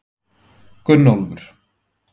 Gunnólfur